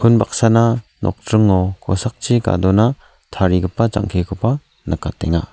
unbaksana nokdringo kosakchi gadona tarigipa jang·kikoba nikatenga.